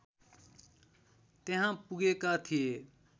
त्यहाँ पुगेका थिए